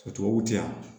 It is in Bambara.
O tubabuw tɛ yan